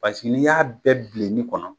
Paseke n'i y'a bɛɛ bilenni kɔnɔ